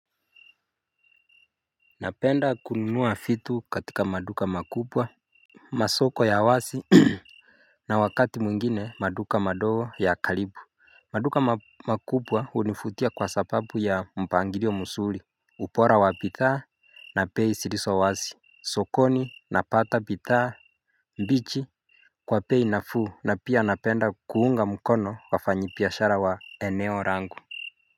Napenda kununua vitu katika maduka makubwa Masoko ya wazi na wakati mwingine maduka madoo ya kalibu maduka makubwa univutia kwa sababu ya mpangirio muzuri Upora wa bithaa na bei zilizo wazi sokoni napata bithaa mbichi Kwa pei na fuu na pia napenda kuunga mkono wafanyabiashara wa eneo langu.